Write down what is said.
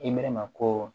Imɛrɛma ko